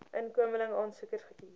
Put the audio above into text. inkomeling aansoekers gekies